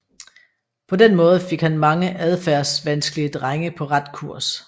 På den måde fik han mange adfærdsvanskelige drenge på ret kurs